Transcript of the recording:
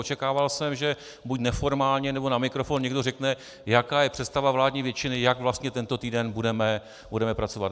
Očekával jsem, že buď neformálně, nebo na mikrofon někdo řekne, jaká je představa vládní většiny, jak vlastně tento týden budeme pracovat.